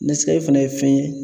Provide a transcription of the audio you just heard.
Nɛskafe fɛnɛ ye fɛn ye